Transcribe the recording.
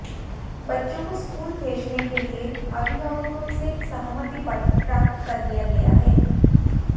बच्चों को स्कूल भेजने के लिए अभिभावकों से सहमति पत्र प्राप्त कर लिया गया है